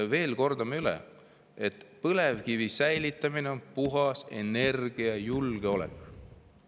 Kordan veel üle: põlevkivi säilitamine on puhas energiajulgeolek.